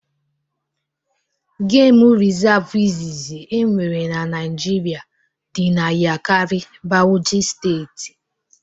Geem resavu izizi e nwere n'Naijiria dị n'Yakari, Bauchi steeti